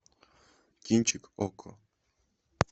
кинчик окко